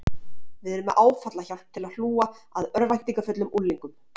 Við erum með áfallahjálp til hlúa að örvæntingarfullum unglingum